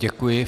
Děkuji.